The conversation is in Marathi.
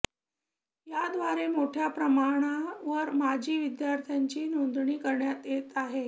याव्दारे मोठ्या प्रमाणावर माजी विद्यार्थ्यांची नोंदणी करण्यात येत आहे